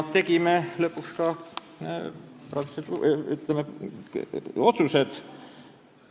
Tegime lõpuks ka otsused.